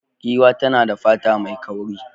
Giwa tana da fata mai kauri.